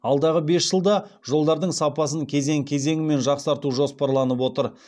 алдағы бес жылда жолдардың сапасын кезең кезеңімен жақсарту жоспарланып отыр